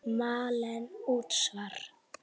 Malen: Útsvar.